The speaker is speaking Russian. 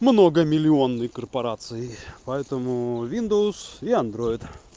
многомиллионный корпорации поэтому виндовс и андроид